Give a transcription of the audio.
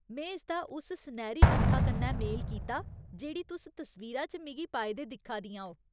में इसदा उस सनैह्‌री नत्था कन्नै मेल कीता जेह्ड़ी तुस तस्वीरा च मिगी पाए दे दिक्खा दियां ओ।